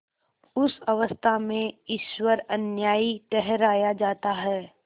उस अवस्था में ईश्वर अन्यायी ठहराया जाता है